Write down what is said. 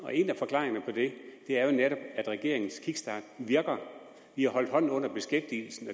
en af forklaringerne på det er jo netop at regeringens kickstart virker vi har holdt hånden under beskæftigelsen